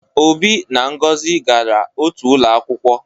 Obi na Ngozi gara otu ụlọ akwụkwọ